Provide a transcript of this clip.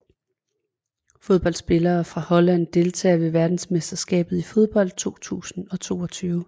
Fodboldspillere fra Holland Deltagere ved verdensmesterskabet i fodbold 2022